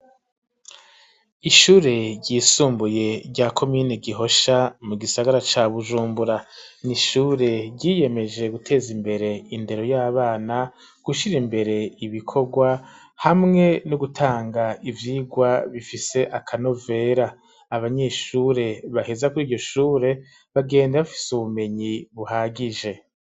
Ishure ryisumbuye rya komini Gihosha mu gisagara ca Bujumbura n'ishure ryiyemeje guteza imbere indero y'abana gushira imbere ibikorwa hamwe no gutanga ivyirwa bifise akanovera abanyeshure baheza kuriryo shure bagenda bafise ubumenyi buhagije